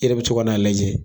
E yɛrɛ bi to ka n'a lajɛ